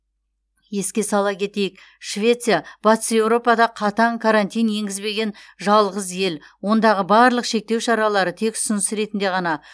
еске сала кетейік швеция батыс еуропада қатаң карантин енгізбеген жалғыз ел ондағы барлық шектеу шаралары тек ұсыныс ретінде ғана